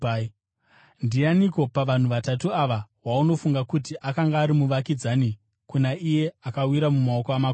“Ndianiko pavanhu vatatu ava waunofunga kuti akanga ari muvakidzani kuna iye akawira mumaoko amakororo?”